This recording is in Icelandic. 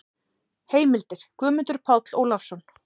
Heimildir: Guðmundur Páll Ólafsson.